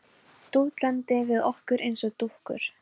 Dútlandi við okkur eins og dúkkur.